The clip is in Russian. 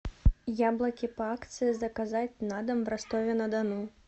яблоки по акции заказать на дом в ростове на дону